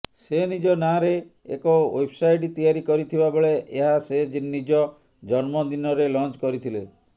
ସେ ନିଜ ନାଁରେ ଏକ େଓ୍ବବ୍ସାଇଟ୍ ତିଆରି କରିଥିବା ବେଳେ ଏହା ସେ ନିଜ ଜନ୍ମଦିନରେ ଲଞ୍ଚ କରିଥିଲେ